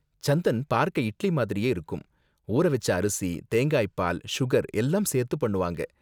சந்தன் பார்க்க இட்லி மாதிரியே இருக்கும், ஊற வெச்ச அரிசி, தேங்காய் பால், சுகர் எல்லாம் சேர்த்து பண்ணுவாங்க.